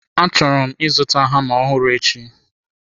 Achọrọ m ịzụta hama ọhụrụ echi.